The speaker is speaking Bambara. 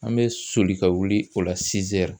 An bɛ soli ka wuli o la